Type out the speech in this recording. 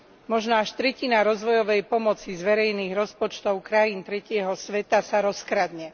Možno až tretina rozvojovej pomoci z verejných rozpočtov krajín tretieho sveta sa rozkradne.